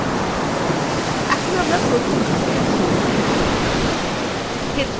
আমরা এখন প্রথম ধাপে আছি ক্ষেত্র নির্বাচন